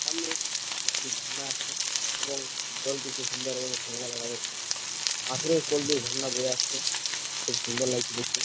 সামনে একটি ঝর্ণা আসছে এবং জলটি খুব সুন্দর এবং শ্যাওলা দেখা যাচ্ছে। পাথরের কোল দিয়ে ঝর্ণা বয়ে আসছে খুব সুন্দর লাগছে দেখতে।